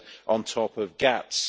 on top of GATS.